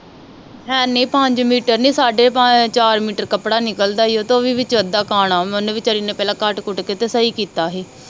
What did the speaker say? ਅਹ ਨੀ ਪੰਜ ਮੀਟਰ ਨੀ ਸਾਡੇ ਚਾਰ ਮੀਟਰ ਕੱਪੜਾ ਨਿਕਲਦਾ ਹੀ ਓਹਤੋਂ ਵੀ ਵਿੱਚ ਅਦਾ ਕਾਣਾ ਓਹਨੇ ਵੀ ਵਿਚਾਰੀ ਨੇ ਪਹਿਲਾ ਕੱਟ ਕੁੱਟ ਕੇ ਤੇ ਸਹੀ ਕੀਤਾ ਹੀ